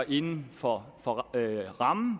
inden for